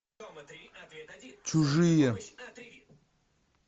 чужие